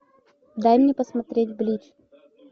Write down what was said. дай мне посмотреть блич